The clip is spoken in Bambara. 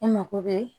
E mago bɛ